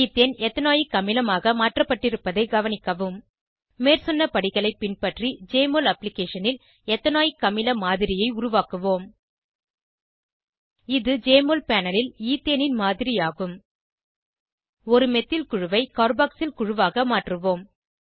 ethane ethanoic அமிலமாக மாற்றப்பட்டிருப்பதை கவனிக்கவும் மேற்சொன்ன படிகளை பின்பற்றி ஜெஎம்ஒஎல் அப்ளிகேஷனில் எத்தனாயிக் அமில மாதிரியை உருவாக்குவோம் இது ஜெஎம்ஒஎல் பேனல் ல் ஈத்தேனின் மாதிரி ஆகும் ஒரு மெத்தில் குழுவை கார்பாக்சில் குழுவாக மாற்றுவோம்